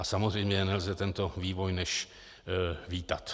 A samozřejmě nelze tento vývoj než vítat.